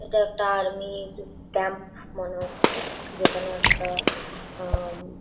এইটা একটা আর্মির ক্যাম্প মনে হচ্ছে। যেখানে একটা উম -উম --